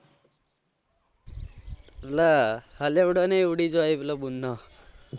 હા ઉડી જાય પેલો ગુમો